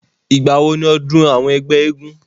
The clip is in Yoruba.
ìgbà wo ni ọdún àwọn ẹgbẹ́ eégún?